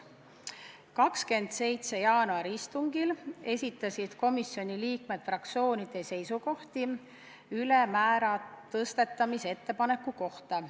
27. jaanuari istungil esitasid komisjoni liikmed fraktsioonide seisukohti ülemmäära tõstmise ettepaneku kohta.